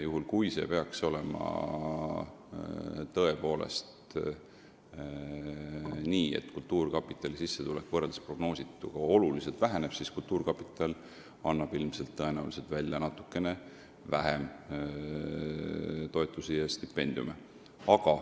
Juhul kui peaks tõepoolest nii minema, et kultuurkapitali sissetulek väheneb oluliselt võrreldes prognoosituga, siis annab kultuurkapital tõenäoliselt välja natukene vähem toetusi ja stipendiume.